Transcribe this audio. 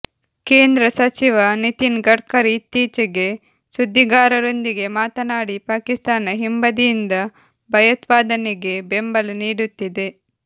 ಕೇಂದ್ರ ಸಚಿವ ನಿತಿನ್ ಗಡ್ಕರಿ ಇತ್ತೀಚೆಗೆ ಸುದ್ದಿಗಾರರೊಂದಿಗೆ ಮಾತನಾಡಿ ಪಾಕಿಸ್ತಾನ ಹಿಂಬದಿಯಿಂದ ಭಯೋತ್ಪಾದನೆಗೆ ಬೆಂಬಲ ನೀಡುತ್ತಿದೆ